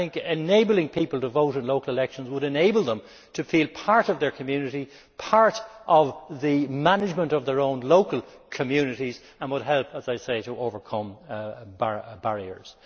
Enabling people to vote in local elections would enable them to feel part of their community and part of the management of their own local communities and would help, as I say, to overcome barriers.